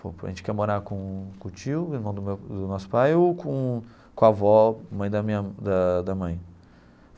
Falou pô, a gente quer morar com o com o tio, irmão do meu do nosso pai, ou com com a avó, mãe da minha da da mãe.